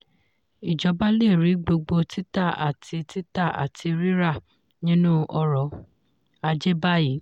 ijọba le rí gbogbo títà àti títà àti rírà nínú ọrọ̀-ajé báyìí.